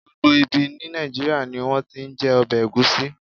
Gbogbo ibi ní Nàìjíríà ni wón ti ń jẹ ọbẹ̀ Ẹ̀gúsí.